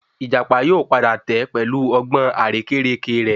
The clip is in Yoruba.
Ìjàpá yóò padà tẹ́ pẹ̀lú ọgbọ́n àrékérekè rẹ